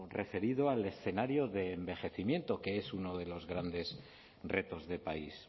referido al escenario de envejecimiento que es uno de los grandes retos de país